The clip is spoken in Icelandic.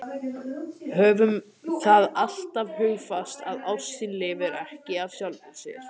Höfum það alltaf hugfast að ástin lifir ekki af sjálfri sér.